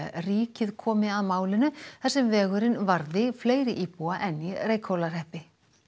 ríkið komi að málinu þar sem vegurinn varðar fleiri íbúa en í Reykhólahreppi